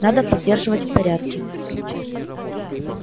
надо поддерживать в порядке